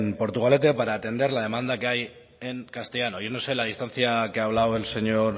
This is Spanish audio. portugalete para atender la demanda que hay en castellano yo no sé la distancia que ha hablado el señor